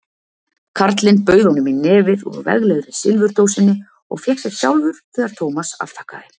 Karlinn bauð honum í nefið úr veglegri silfurdósinni og fékk sér sjálfur þegar Thomas afþakkaði.